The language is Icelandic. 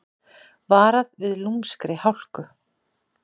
Varað við lúmskri hálku